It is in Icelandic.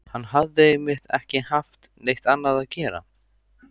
Hann hafði einmitt ekki haft neitt annað að gera.